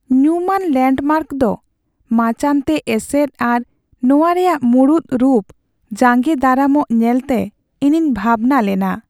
ᱧᱩᱢᱟᱱ ᱞᱮᱱᱰᱢᱟᱨᱠ ᱫᱚ ᱢᱟᱪᱟᱱᱛᱮ ᱮᱥᱮᱫ ᱟᱨ ᱱᱚᱶᱟ ᱨᱮᱭᱟᱜ ᱢᱩᱲᱩᱫ ᱨᱩᱯ ᱡᱟᱸᱜᱮ ᱫᱟᱨᱟᱢᱚᱜ ᱧᱮᱞᱛᱮ ᱤᱧᱤᱧ ᱵᱷᱟᱵᱽᱱᱟ ᱞᱮᱱᱟ ᱾